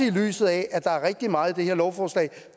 i lyset af at der er rigtig meget i det her lovforslag